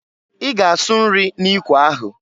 I ga asụ nri n'ikwe ahụ!